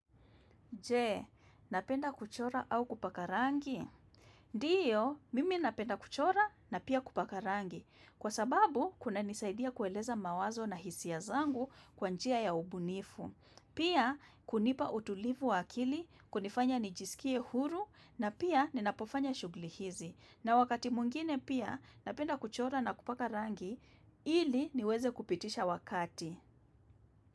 Nje, napenda kuchora au kupaka rangi? Ndiyo, mimi napenda kuchora, na pia kupaka rangi. Kwa sababu, kuna nisaidia kueleza mawazo na hisia ya zangu kwa njia ya ubunifu. Pia, kunipa utulivu wa akili, kunifanya nijisikie huru na pia ninapofanya shughli hizi. Na wakati mwingine pia, napenda kuchora na kupaka rangi, ili niweze kupitisha wakati.